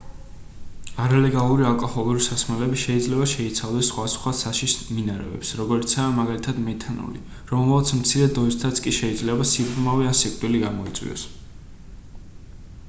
არალეგალური ალკოჰოლური სასმელები შეიძლება შეიცავდეს სხვადასხვა საშიშ მინარევებს როგორიცაა მაგალითად მეთანოლი რომელმაც მცირე დოზითაც კი შეიძლება სიბრმავე ან სიკვდილი გამოიწვიოს